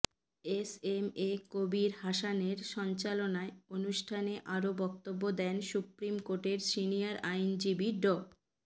S M A Kabir হাসানের সঞ্চালনায় অনুষ্ঠানে আরও বক্তব্য দেন সুপ্রিম কোর্টের সিনিয়র আইনজীবী ড